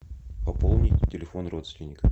пополнить телефон родственника